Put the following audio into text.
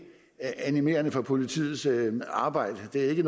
animerende for politiets arbejde det er i